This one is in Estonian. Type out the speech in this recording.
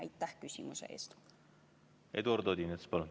Eduard Odinets, palun!